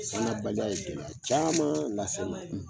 San na baliya ye gɛlɛya caman lase n ma ye